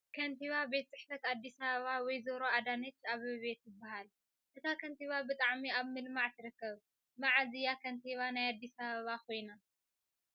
ከንቲባ ቤት ፅሕፈት ኣዲስ ኣባባ ወይዘሮ ኣዳነች ኣበቤ ትባህል ። እታ ከንቲባ ብጣዕሚ ኣብ ምልማዕ ትርከብ ።መዓዝ እያ ከንቲባ ናይ ኣዲስ ኣበባ ኮይና ?